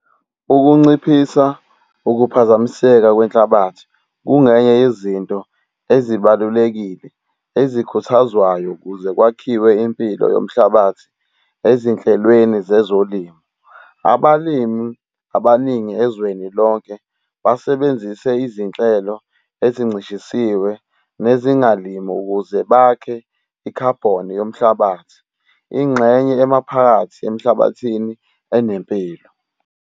Ukunciphisa ukuphazamiseka kwenhlabathi kungenye yezinto ezibalulekile ezikhuthazwayo ukuze kwakhiwe impilo yomhlabathi ezinhlelweni zezolimo. Abalimi abaningi ezweni lonke basebenzise izinhlelo ezincishisiwe nezingalimi ukuze bakhe i-carbon yomhlabathi. Ingxenye emaphakathi emhlabathini enempilo